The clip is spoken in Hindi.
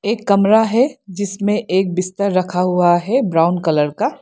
एक कमरा है जिसमें एक बिस्तर रखा हुआ है ब्राउन कलर का।